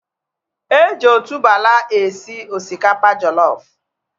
Eji otuboala esi osikapa jollof